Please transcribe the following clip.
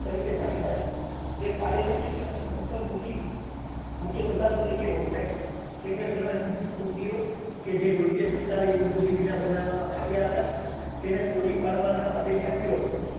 તરીકે જાણીતા છે. તે કાર્યલક્ષી અને અંતર્મુખી મુખ્ય પ્રધાન તરીકે ઓળખાય છે. તેમણે ઘણા હિન્દૂ મંદિરો કે જે યોગ્ય સરકારી મંજૂરી વિના બનાવવામાં આવ્યા હતા. તેને તોડી પાડવાનો આદેશ આપ્યો હતો.